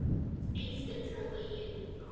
Engu trúi ég núna.